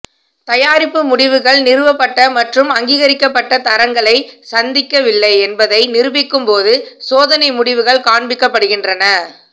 தயாரிப்பு முடிவுகள் நிறுவப்பட்ட மற்றும் அங்கீகரிக்கப்பட்ட தரங்களை சந்திக்கவில்லை என்பதை நிரூபிக்கும் போது சோதனை முடிவுகள் காண்பிக்கப்படுகின்றன